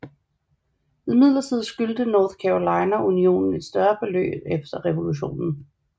Imidlertid skyldte North Carolina unionen et større beløb efter revolutionen